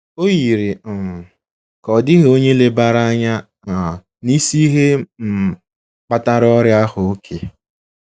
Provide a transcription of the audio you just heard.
O yiri um ka ọ dịghị onye lebara anya um na isi ihe um kpatara ọrịa ahụ — òké.